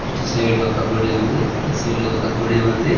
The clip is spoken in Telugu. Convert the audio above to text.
ఇటు సైడ్ ఒక గుడి ఉంది అటు సైడ్ ఒక గుడి ఉంది.